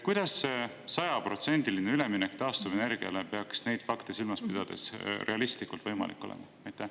Kuidas peaks sajaprotsendiline üleminek taastuvenergiale neid fakte silmas pidades realistlikult võimalik olema?